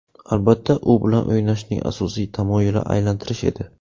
Albatta, u bilan o‘ynashning asosiy tamoyili aylantirish edi.